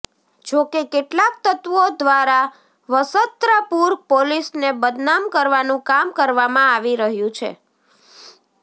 જો કે કેટલાક તત્વો ધ્વારા વસત્રાપુર પોલીસને બદનામ કરવાનુ કામ કરવામા આવી રહ્યુ છે